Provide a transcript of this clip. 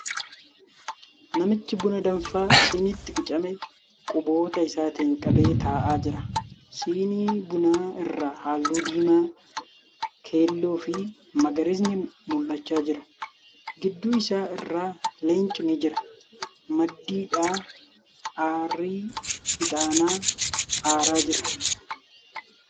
Namichi buna danfaa siniitti qicame quboota isaatiin qabee taa'aa jira. Sinii bunaa irra halluu diimaa, keelloo fi magariisni mul'achaa jira. Gidduu isaa irra leenci ni jira Maddiidhaa aarri ixaanaa aaraa jira.